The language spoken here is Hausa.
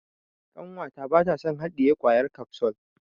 Ƙanwata bata son haɗiye kwayar kafsul.